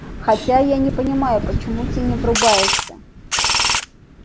хотя я не понимаю почему ты не врубаешься